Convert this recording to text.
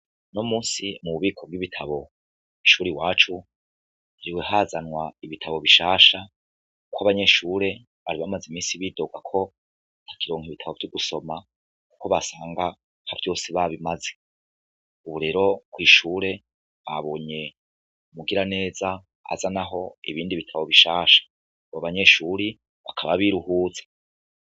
No musi mu bubiko bw'ibitabo ishuri wacu viwe hazanwa ibitabo bishasha, kuko abanyeshure ari bamaze imisi bidorwako takironka ibitabo vy'gusoma, kuko basanga ha vyose babimaze uburero kw'ishure abonye mugira neza aza na ho ibindi bitabo bishasha ngo banyeshuri ng akaba biruhuza.